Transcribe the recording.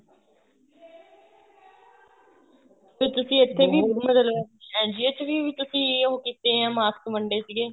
ਇੱਕ ਤੁਸੀਂ ਇਥੇ ਵੀ ਮਤਲਬ NGO ਚ ਵੀ ਉਹ ਕੀਤੇ ਏ mask ਵੰਡੇ ਸੀਗੇ